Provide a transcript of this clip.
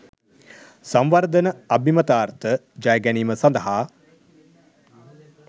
සංවර්ධන අභිමතාර්ථ ජය ගැනීම සඳහා